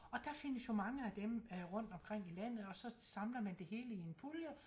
Og der findes jo mange af dem øh rundt omkring i landet og så samler man det hele i en pulje